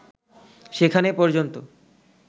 সেখানে পর্যন্ত